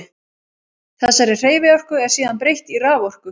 Þessari hreyfiorku er síðan breytt í raforku.